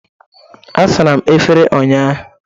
Asara m efere ụnyaahụ